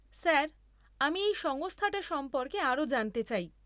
Sir, আমি এই সংস্থাটা সম্পর্কে আরও জানতে চাই।